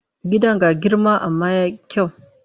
Gidan ga girma amma ya yi kyau.